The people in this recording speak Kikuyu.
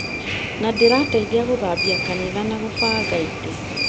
Na ndĩrateithia gũthambia kanitha na gũbanga itĩ